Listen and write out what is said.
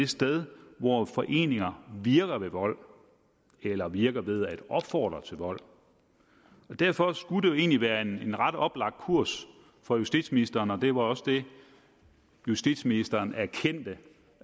sted hvor foreninger virker ved vold eller virker ved at opfordre til vold derfor skulle det jo egentlig være en en ret oplagt kurs for justitsministeren og det var også det justitsministeren erkendte